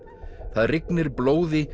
það rignir blóði